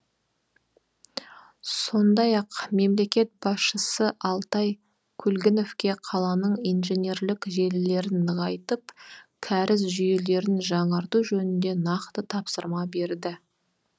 сондай ақ мемлекет басшысы алтай көлгіновке қаланың инженерлік желілерін нығайтып кәріз жүйелерін жаңарту жөнінде нақты тапсырма берді